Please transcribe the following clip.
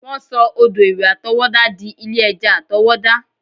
Wọ́n sọ odò ìwẹ̀ àtọwọ́dá dí ilé ẹja àtọwọ́dá